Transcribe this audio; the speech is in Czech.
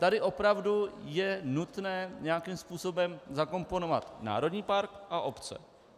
Tady opravdu je nutné nějakým způsobem zakomponovat národní park a obce.